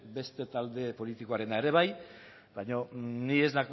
beste talde politikoena ere bai baina ni ez